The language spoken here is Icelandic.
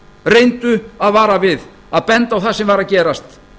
reyndu að vara við að benda á það sem var að gerast